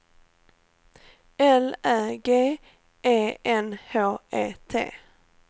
L Ä G E N H E T